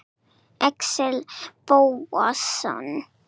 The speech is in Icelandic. Axel Bóasson